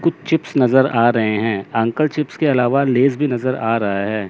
कुछ चिप्स नज़र आ रहे हैं अंकल चिप्स के अलावा लेस भी नज़र आ रहा है।